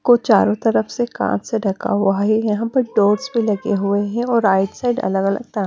को चारों तरफ से कांच से ढका हुआ है। यहां पर डोर्स भी लगे हुए हैं और राइट साइड अलग अलग तरह के--